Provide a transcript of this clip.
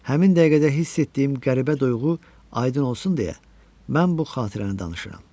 Həmin dəqiqədə hiss etdiyim qəribə duyğu aydın olsun deyə, mən bu xatirəni danışıram.